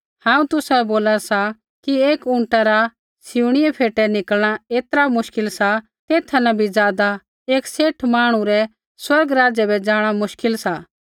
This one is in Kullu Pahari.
हांऊँ तुसाबै बोला सा कि एक ऊँटा रा सिऊँणियै फ़ेटै निकलणा ऐतरा मुश्किल सा तेथा न भी ज़ादा एक सेठ मांहणु रै स्वर्ग राज्य बै जाँणा मुश्किल सा